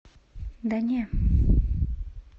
да не